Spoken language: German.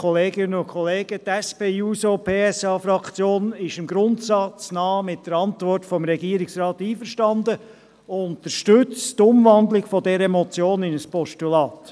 Die SP-JUSOPSA-Fraktion ist im Grundsatz mit der Antwort des Regierungsrats einverstanden und unterstützt die Umwandlung dieser Motion in ein Postulat.